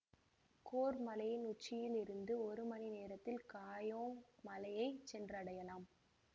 கொர்பு மலையின் உச்சியில் இருந்து ஒரு மணி நேரத்தில் காயோங் மலையை சென்று அடையலாம்